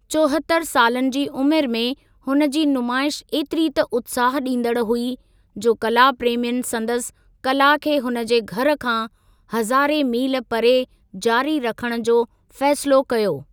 चोहतरि सालनि जी उमिरि में हुन जी नुमाइश ऐतिरी त उत्साहु ॾींदड़ हुई जो कला प्रेमियुनि संदसि कला खे हुन जे घर खां हज़ारे मील परे जारी रखण जो फ़ैसिलो कयो।